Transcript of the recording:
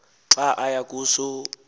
xa aya kuso